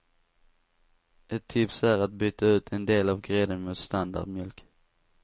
Ett tips är att byta ut en del av grädden mot standardmjölk.